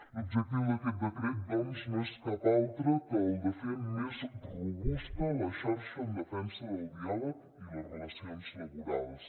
l’objectiu d’aquest decret doncs no és cap altre que el de fer més robusta la xarxa en defensa del diàleg i les relacions laborals